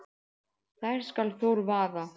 þær skal Þór vaða